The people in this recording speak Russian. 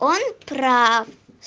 он прав